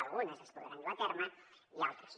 algunes es podran dur a terme i altres no